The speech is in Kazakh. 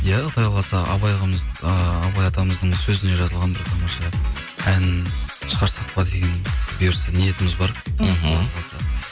иә құдай қаласа ыыы абай атамыздың сөзіне жазылған бір тамаша ән шығарсақ па деген бұйырса ниетіміз бар мхм